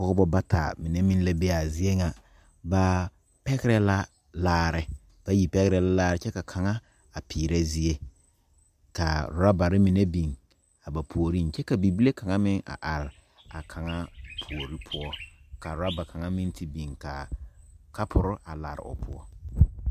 Pɔɔbɔ bata mine meŋ la be aa zie nyeŋ ba pɛgrɛ la laare bayi pɛgrɛ la laare kyɛ ka kaŋa a peerɛ zie kaa rɔbarre mine biŋ a ba puoriŋ kyɛ ka bibile kaŋa meŋ a are kaŋa puore poɔ ka rɔba kaŋa meŋ yi biŋ kaa kɔpurre a lare o poɔ.